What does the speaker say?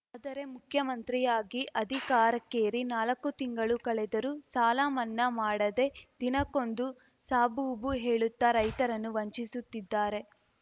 ಆದರೆ ಮುಖ್ಯಮಂತ್ರಿಯಾಗಿ ಅಧಿಕಾರಕ್ಕೇರಿ ನಾಲಕ್ಕು ತಿಂಗಳು ಕಳೆದರೂ ಸಾಲ ಮನ್ನಾ ಮಾಡದೇ ದಿನಕ್ಕೊಂದು ಸಾಬೂಬು ಹೇಳುತ್ತ ರೈತರನ್ನು ವಂಚಿಸುತ್ತಿದ್ದಾರೆ